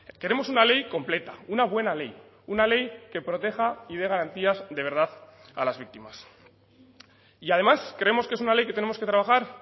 queremos una ley completa una buena ley una ley que proteja y dé garantías de verdad a las víctimas y además creemos que es una ley que tenemos que trabajar